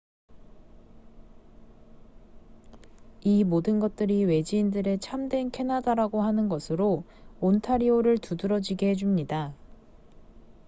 이 모든 것들이 외지인들이 참된 캐나다라고 하는 것으로 온타리오를 두드러지게 해줍니다